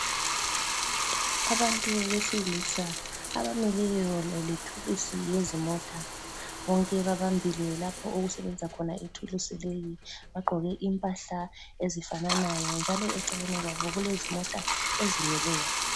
Abantu besilisa abamileyo lethulusi yezimota. Bonke babambile lapho okusebenza khona ithulusi leyo. Bagqoke impahla ezifananayo njalo eceleni kwabo kulezimota ezimileyo.